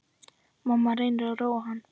Mamma reynir að róa hann.